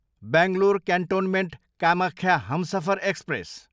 Bangalore cantonment, Kamakhya Humsafar express